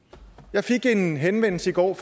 jeg fik en henvendelse i går